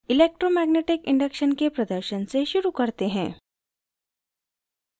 electromagnetic induction के प्रदर्शन से शुरू करते हैं